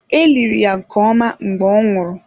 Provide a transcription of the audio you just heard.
E liri ya nke ọma mgbe ọ nwụrụ.